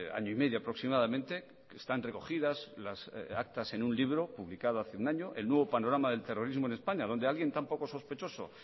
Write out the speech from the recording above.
año y medio aproximadamente que están recogidas las actas en un libro publicado hace un año el nuevo panorama del terrorismo en españa donde alguien tan poco sospechoso